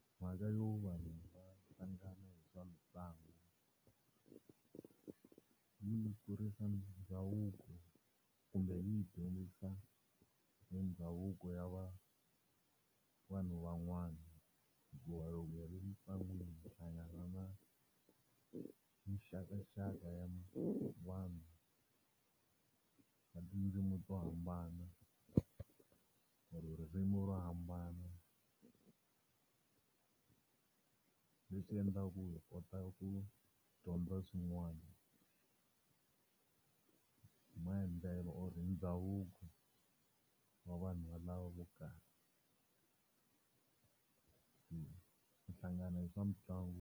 Mhaka yo vanhu hlangana hi swa mitlangu, hi yi kurisa ndhavuko kumbe yi hi dyondzisa hi ndhavuko ya va vanhu van'wana. Hikuva loko hi ri mitlangwini minxakaxaka ya vanhu na tindzimi to hambana or-o ririmi ro hambana. Leswi endlaku hi kotaka ku dyondza swin'wana hi maendlelo or-o ndhavuko wa vanhu lava vo karhi. ku hlangana swa mitlangu.